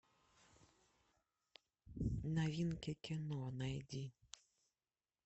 новинки кино найди